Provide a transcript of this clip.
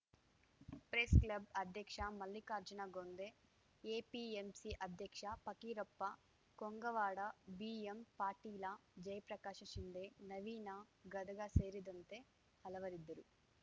press club ಅಧ್ಯಕ್ಷ Mallikarjuna Gonde APMC ಅಧ್ಯಕ್ಷ Fakirappa Kongawad B M Patil Jayaprakash Shinde Naveen Gadag ಸೇರಿದಂತೆ ಹಲವರಿದ್ದರು